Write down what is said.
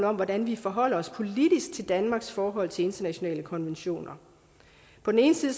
om hvordan vi forholder os politisk til danmarks forhold til internationale konventioner på den ene side